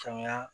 Faamuya